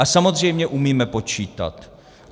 A samozřejmě umíme počítat.